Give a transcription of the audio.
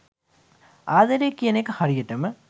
ආදරය කියන එක හරියටම